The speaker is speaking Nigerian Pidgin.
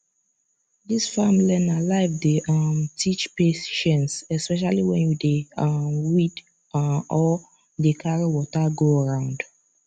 this farm learner life dey um teach patience especially when you dey um weed um or dey carry water go round